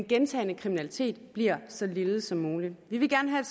gentagen kriminalitet bliver så lille som muligt vi vil gerne have